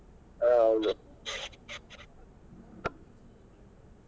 ಹಾ ಹೌದು.